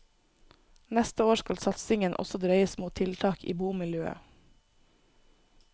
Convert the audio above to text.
Neste år skal satsingen også dreies mot tiltak i bomiljøet.